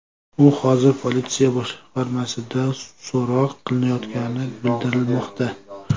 U hozir politsiya boshqarmasida so‘roq qilinayotgani bildirilmoqda.